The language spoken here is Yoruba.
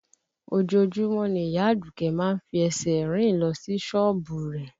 Ojoojúmọ́ ni ìyá Àdùkẹ́ má ń fi ẹsẹ̀ rìn lọ sí sọ́ọ̀bù rẹ̀